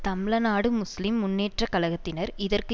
தம்ழநாடு முஸ்லீம் முன்னேற்ற கழகத்தினர் இதற்கு